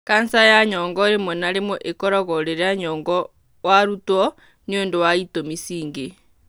kanca ya nyongo rĩmwe na rĩmwe ĩkoragwo rĩrĩa nyongo warutwo nĩ ũndũ wa ĩtũmi cingĩ.